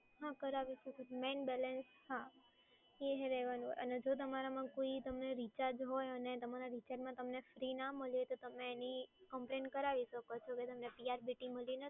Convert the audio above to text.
હા કરાવી શકો છો મેઈન બેલેન્સ, હા એ રહેવાનું અને જો તમારામાં કોઈ રિચાર્જ હોય અને તમારા રિચાર્જમાં તમને ફ્રી ના મળ્યું હોય તો તમે એની કમ્પ્લેન કરાવી શકો છો કે તમને PRBT મળી નથી.